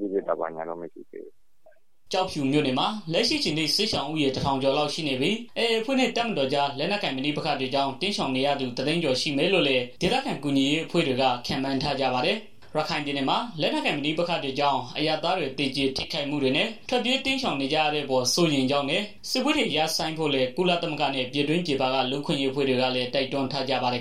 ကြည့်ဖြစ်တာ ဘာညာတော့ မရှိသေးဘူး။” ကျောက်ဖြူမြို့နယ်မှာ လက်ရှိအချိန်ထိ စစ်ရှောင်ဦးရေ ၁,၀၀၀ ကျော်လောက်ရှိနေပြီး AA အဖွဲ့နဲ့ တပ်မတော်ကြား လက်နက်ကိုင် ပဋိပက္ခတွေကြောင့် တိမ်းရှောင်နေရသူ ၁၀၀,၀၀၀ ကျော် ရှိမယ်လို့လည်း ဒေသခံအကူအညီပေးရေး အဖွဲ့တွေက ခန့်မှန်းထားကြပါတယ်။ ရခိုင်ပြည်နယ်မှာ လက်နက်ကိုင် ပဋိပက္ခတွေကြောင့် အရပ်သားတွေ သေကြေထိခိုက်မှုတွေနဲ့ ထွက်ပြေးတိမ်းရှောင်နေကြရတဲ့အပေါ် စိုးရိမ်ကြောင်းနဲ့ စစ်ပွဲတွေ ရပ်ဆိုင်းဖို့လည်း ကုလသမဂ္ဂနဲ့ ပြည်တွင်းပြည်ပက လူ့အခွင့်အရေး အဖွဲ့တွေကလည်း တိုက်တွန်းထားကြပါတယ်